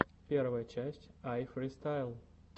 первая часть айфристайл